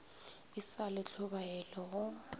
e sa le tlhobaelo go